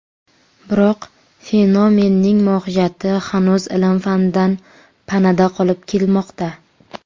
Biroq fenomenning mohiyati hanuz ilm-fandan panada qolib kelmoqda.